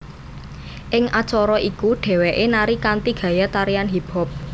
Ing acara iku dhéwéké nari kanthi gaya tarian hip hop